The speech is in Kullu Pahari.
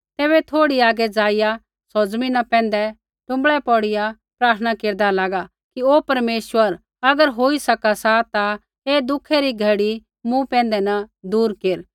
तैबै थोड़ा आगै ज़ाइआ सौ ज़मीना पैंधै टुँबड़ै पौड़िया प्रार्थना केरदा लागा कि ओ परमेश्वर अगर होई सका सा ता ऐ दुखै री घड़ी मूँ पैंधै न दूर केर